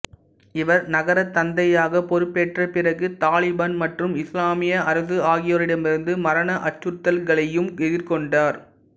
இவர் நகரத் தந்தையாகப் பொறுப்பேற்ற பிறகு தாலிபான் மற்றும் இசுலாமிய அரசு ஆகியோரிடமிருந்து மரண அச்சுறுத்தல்களையும் எதிர்கொண்டார்